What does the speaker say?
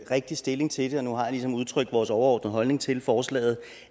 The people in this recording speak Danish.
rigtig stilling til det nu har jeg ligesom udtrykt vores overordnede holdning til forslaget